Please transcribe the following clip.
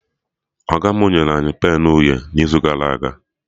Ọga mụ nyere anyị penụ uhie n'izu gara aga